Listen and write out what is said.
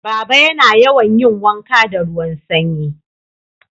Baba yana yawan yin wanka da ruwan Sanyi